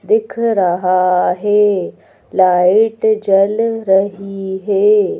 दिख रहा है लाइट जल रही है।